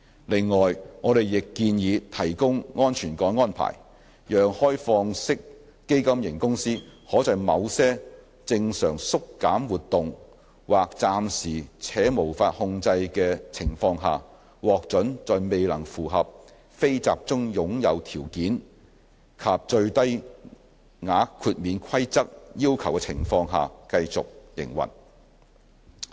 另外，我們亦建議提供安全港安排，讓開放式基金型公司可在某些正常縮減活動或暫時且無法控制的情況下，獲准在未能符合"非集中擁有"條件及最低額豁免規則要求的情況下繼續營運。